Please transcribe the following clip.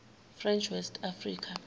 french west africa